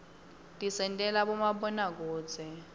tisentela bomabonakudze